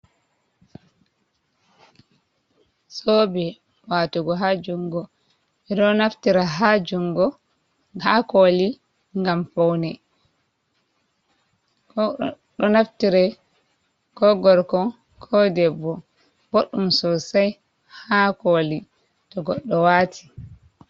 Zobe watugo ha jungo ɓeɗo naftira ha jungo, ha koli ngam foune ɗo naftira ko gorko ko debbo, boɗɗum sosai ha koli to godɗo wati.